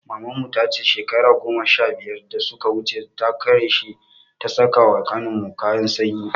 Maman mu ta ce shekara goma sha biyar da suka wuce, da kureshe ta saƙa wa ƙanin mu kayan sanyi.